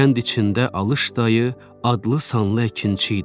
Kənd içində Alış dayı adlı sanlı əkinçi idi.